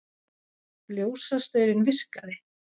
Ljósastaurinn virkaði